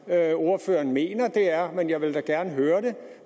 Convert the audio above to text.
jeg ordføreren mener det er men jeg vil da gerne høre det